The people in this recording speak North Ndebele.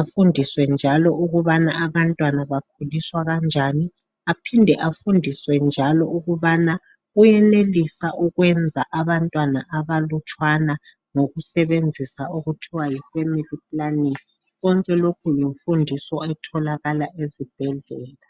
afundiswe njalo ukubana abantwana bakhuliswa kanjani, aphinde afundiswe njalo ukubana uyenelisa ukwenza abantwana abalutshwana ngokusebenzisa okuthiwa yi family planning. Konke lokhu yimfundiso etholakala ezibhedlela.